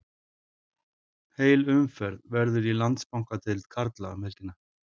Heil umferð verður í Landsbankadeild karla um helgina.